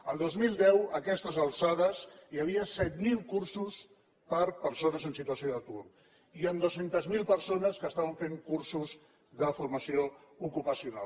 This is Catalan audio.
el dos mil deu a aquestes alçades hi havia set mil cursos per a persones en situació d’atur i amb dos cents miler persones que estaven fent cursos de formació ocupacional